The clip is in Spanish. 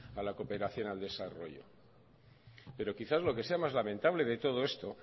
a la cooperación al desarrollo pero quizás lo que sea más lamentable de todo esto